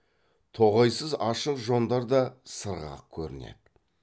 тоғайсыз ашық жондар да сырғақ көрінеді